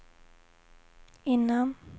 innan